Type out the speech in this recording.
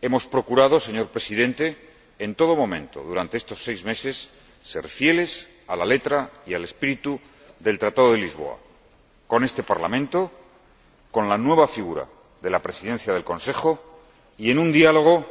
Hemos procurado, señor Presidente, en todo momento durante estos seis meses, ser fieles a la letra y al espíritu del Tratado de Lisboa con este Parlamento, con la nueva figura de la Presidencia del Consejo y en un diálogo